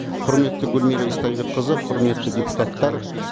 құрметті гүлмира истайбекқызы құрметті депутаттар